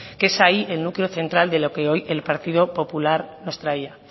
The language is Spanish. que es ahí el núcleo central de lo que hoy el partido popular nos traía